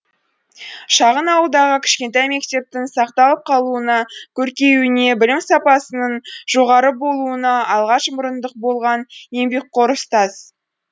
шағын ауылдағы кішкентай мектептің сақталып қалуына көркеюіне білім сапасының жоғары болуына алғаш мұрындық болған еңбекқор ұстаз